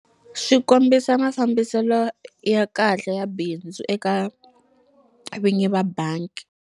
Swi kombisa mafambiselo ya kahle ya bindzu eka vinyi va bangi.